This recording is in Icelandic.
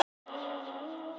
og hér má sjá